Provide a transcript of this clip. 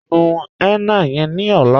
Nú henna yẹ̀n ní ọ̀là